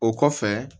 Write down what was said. O kɔfɛ